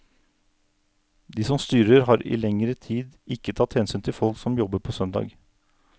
De som styrer har i lengre tid ikke tatt hensyn til folk som jobber på søndag.